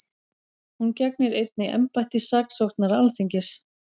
Hún gegnir einnig embætti saksóknara Alþingis